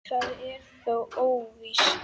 Það er þó óvíst.